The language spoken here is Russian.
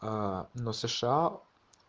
а но сша